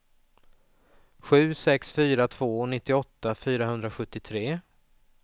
sju sex fyra två nittioåtta fyrahundrasjuttiotre